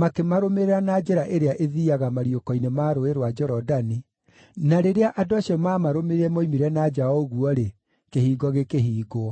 makĩmarũmĩrĩra na njĩra ĩrĩa ĩthiiaga mariũko-inĩ ma Rũũĩ rwa Jorodani, na rĩrĩa andũ acio mamarũmĩrĩire moimire na nja o ũguo-rĩ, kĩhingo gĩkĩhingwo.